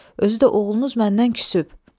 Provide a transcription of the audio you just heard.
Özü də oğlunuz məndən küsübdür.